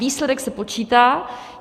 Výsledek se počítá.